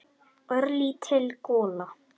Örlítil gola.